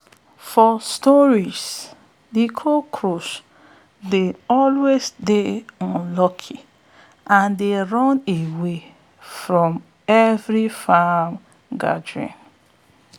for stories de cockroach dey always dey unlucky and dey run away for every farm gathering